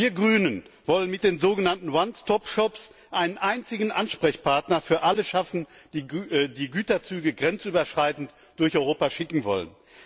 Wir Grünen wollen mit den sogenannten One Stop Shops einen einzigen Ansprechpartner für alle schaffen, die Güterzüge grenzüberschreitend durch Europa schicken wollen.